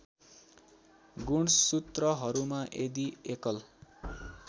गुणसूत्रहरूमा यदि एकल